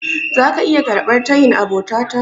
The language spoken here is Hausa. Zaka iya karɓar tayin abota ta?